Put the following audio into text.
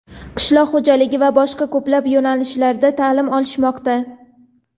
qishloq xo‘jaligi va boshqa ko‘plab yo‘nalishlarda taʼlim olishmoqda.